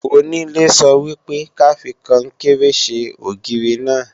Onílé sọ wípé ka fi Kọnkéré ṣe ògiri náà